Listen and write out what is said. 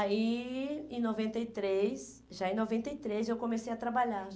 Aí, em noventa e três, já em noventa e três, eu comecei a trabalhar.